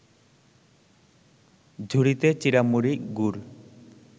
ঝুড়িতে চিঁড়ামুড়ি, গুড়